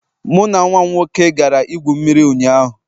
Mụ na nwa m nwoke gara igwu mmiri ụnyaahụ